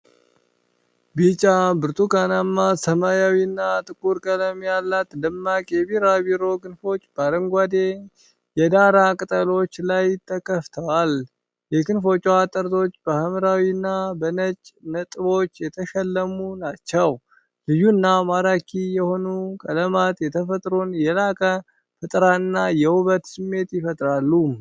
ቢጫ፣ ብርቱካናማ፣ ሰማያዊና ጥቁር ቀለም ያላት ደማቅ የቢራቢሮ ክንፎች በአረንጓዴ የዳራ ቅጠሎች ላይ ተከፍተዋል። የክንፎቹ ጠርዞች በሐምራዊ እና በነጭ ነጥቦች የተሸለሙ ናቸው። ልዩና ማራኪ የሆኑት ቀለማት የተፈጥሮን የላቀ ፈጠራና የውበት ስሜት ይፈጥራሉ።